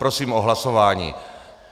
Prosím o hlasování.